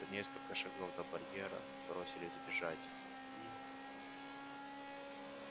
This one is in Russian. за несколько шагов до барьера бросились бежать и